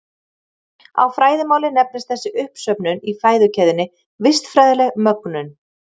Á fræðimáli nefnist þessi uppsöfnun í fæðukeðjunni vistfræðileg mögnun.